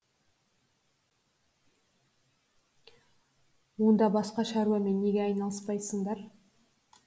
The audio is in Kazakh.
онда басқа шаруамен неге айналыспайсыңдар